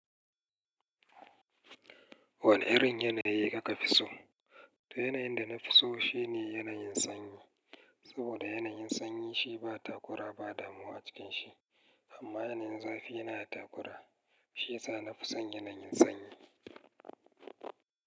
Wane irin yanayi kuka fi so? To yanayin da na fi so shine yanayin sanyi. Saboda yanayin sanyi shi ba takura ba damuwa a cikin shi. Amma yanayin zafi yana da takura. Shiyasa na fi son yanayin sanyi.